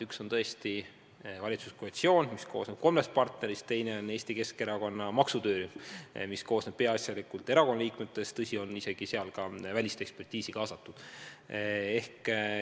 Üks on valitsuskoalitsioon, mis koosneb kolmest partnerist, teine on Eesti Keskerakonna maksutöörühm, mis koosneb peaasjalikult erakonna liikmetest, aga seal on isegi ka välisekspertiisi kaasatud.